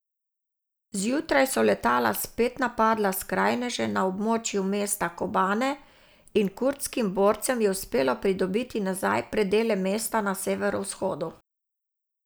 Zjutraj so letala spet napadla skrajneže na območju mesta Kobane in kurdskim borcem je uspelo pridobiti nazaj predele mesta na severovzhodu.